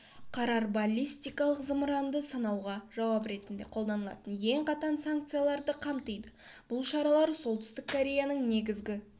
қарар баллистикалық зымыранды сынауға жауап ретінде қолданылатын ең қатаң санкцияларды қамтиды бұл шаралар солтүстік кореяның негізгі